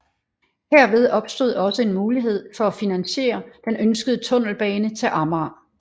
Herved opstod også en mulighed for at finansiere den ønskede tunnelbane til Amager